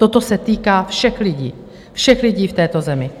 Toto se týká všech lidí, všech lidí v této zemi.